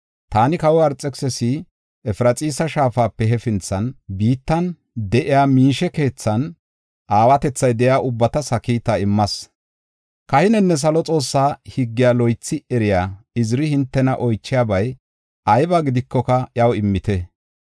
“Taani kawoy Arxekisisi Efraxiisa Shaafape hefinthan biittan de7iya miishe keethan aawatethay de7iya ubbatas ha kiita immas. Kahinenne Salo Xoossaa higgiya loythi eriya Iziri hintena oychiyabay ayba gidikoka iyaw immite.